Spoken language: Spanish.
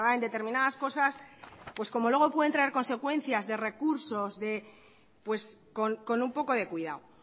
en determinadas cosas como luego pueden traer consecuencias de recursos con un poco de cuidado